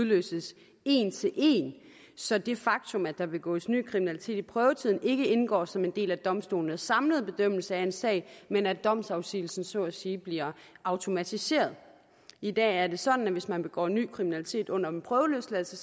udløses en til en så det faktum at der begås ny kriminalitet i prøvetiden ikke indgår som en del af domstolenes samlede bedømmelse af en sag men at domsafsigelsen så at sige bliver automatiseret i dag er det sådan at hvis man begår ny kriminalitet under en prøveløsladelse